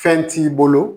Fɛn t'i bolo